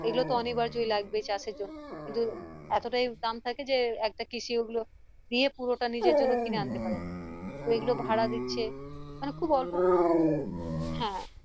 অনিবার্জই লাগবে চাষের জন্য কিন্তু এতটাই দাম থাকে যে একটা কৃষি ওগুলো দিয়ে পুরোটা নিজের জন্য কিনে আনতে পারেনা তো এগুলো ভাড়া দিচ্ছে মানে খুব অল্প হ্যাঁ